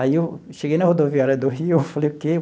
Aí eu cheguei na rodoviária do Rio, eu falei o quê?